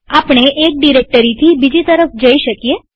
આપણે એક ડિરેક્ટરીથી બીજી તરફ જઈ શકીએ